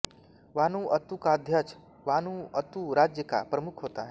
Vanuatu का अध्यक्ष Vanuatu राज्य का प्रमुख होता है